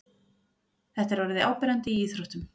Þetta er orðið áberandi í íþróttum.